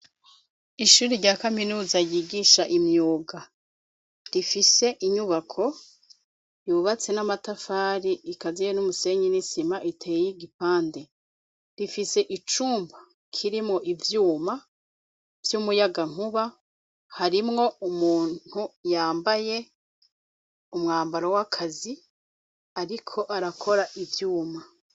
Ishuri rya kaminuza ryigisha imyuga rifise inyubako yubatse n'amatafari ikaziye n'umusenyi n'isima iteye igipande, rifise icumba kirimwo ivyuma vyumuyagankuba harimwo umuntu yambaye umwambaro wakazi ariko arakora ivyuma.